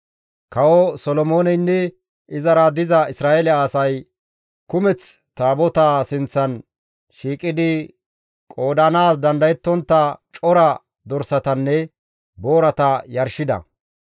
Kawo Solomooneynne izara diza Isra7eele asay kumeth Taabotaa sinththan shiiqidi qoodanaas dandayettontta cora dorsatanne boorata yarshida.